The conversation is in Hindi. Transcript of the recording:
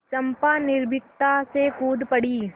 चंपा निर्भीकता से कूद पड़ी